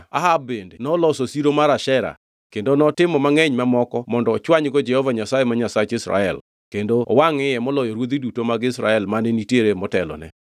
Ahab bende noloso siro mar Ashera kendo notimo mangʼeny mamoko mondo ochwanygo Jehova Nyasaye, ma Nyasach Israel, kendo owangʼ iye moloyo ruodhi duto mag Israel mane nitiere motelone.